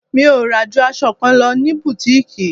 Mi ò rà ju aṣọ kan lọ ní butiiki.